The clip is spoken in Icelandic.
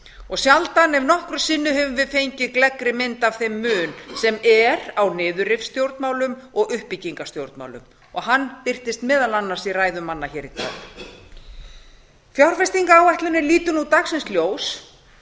og sjaldan ef nokkru sinni höfum við fengið gleggri mynd af þeim mun sem er á niðurrifsstjórnmálum og uppbyggingarstjórnmálum og hann birtist meðal annars í ræðum mann í dag fjárfestingaráætlunin lítur nú dagsins ljós